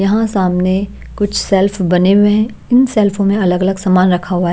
यहाँ सामने कुछ सेल्फ बने हुए हैं इन सेल्फों में अलग-अलग सामान रखा हुआ है।